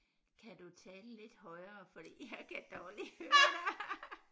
Kan du tale lidt højere fordi jeg kan dårligt høre dig